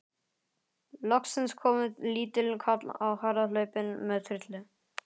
Loksins kom lítill karl á harðahlaupum með trillu.